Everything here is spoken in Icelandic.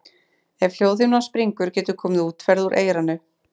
Ef hljóðhimnan springur getur komið útferð úr eyranu.